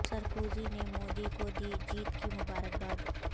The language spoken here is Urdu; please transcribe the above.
سرکوزی نے مودی کو دی جیت کی مبارک باد